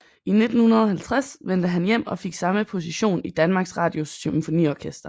I 1950 vendte han hjem og fik samme position i Danmarks Radios Symfoniorkester